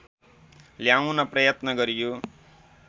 ल्याउन प्रयत्न गरियो